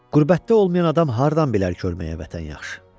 Qürbətdə olmayan adam hardan bilər ölməyə vətən yaxşı?